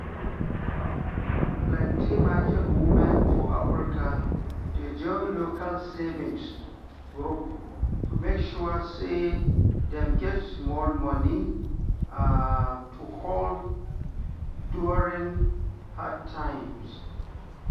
plenty market women for africa dey join local savings group to make sure say dem get small money to hold during hard times.